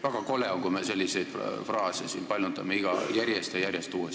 Väga kole on, kui me selliseid fraase siin järjest ja järjest paljundame.